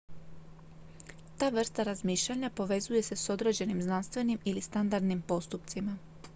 ta vrsta razmišljanja povezuje se s određenim znanstvenim ili standardnim postupcima